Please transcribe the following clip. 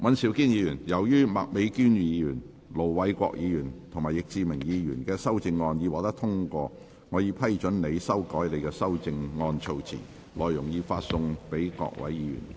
尹兆堅議員，由於麥美娟議員、盧偉國議員及易志明議員的修正案獲得通過，我已批准你修改你的修正案措辭，內容已發送各位議員。